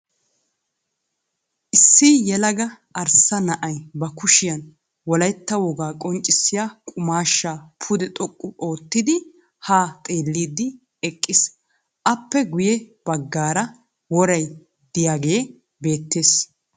Issi yelaga arssa na"ay ba kushiyan wolayitta wogaa qonccissiya qumaashshaa pude xoqqu oottidi haa xeelliiddi eqqiis. Aappe guyye baggaaraworay diyagee beettes.